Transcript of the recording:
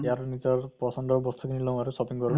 ইয়াৰো নিজৰ পচন্দৰ বস্তু লওঁ আৰু shopping কৰো